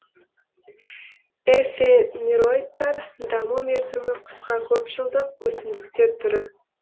эфемероидтар даму мерзімі қысқа көп жылдық өсімдіктер түрі